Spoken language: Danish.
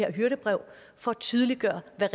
er